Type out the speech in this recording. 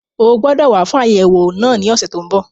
O gbọdọ̀ wá fún àyẹ̀wò náà ní ọ̀sẹ̀ tó n bọ̀